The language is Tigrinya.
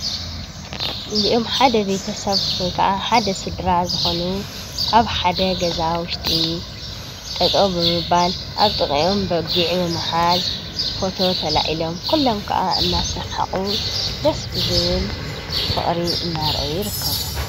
እዚኦም ሓደ ቤተሰብ ወይከዓ ሓደ ስድራ ዝኾኑ ኣብ ሓደ ገዛ ውሽጢ ጠጠው ብምባል ኣብ ጥቂኦም በጊዕ ብምሓዝ ፎቶ ተላዒሎም ኩሎም ኸዓ እናሰሓቁ ደስ ብዝብል ፍቅሪ እናርእዩ ይርከቡ።